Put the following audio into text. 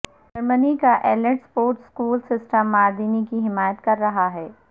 جرمنی کا elite sports school system Mardini کی حمایت کر رہا ہے